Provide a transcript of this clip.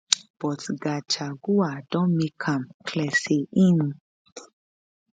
but gachagua don make am clear say im